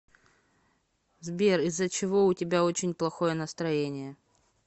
сбер из за чего у тебя очень плохое настроение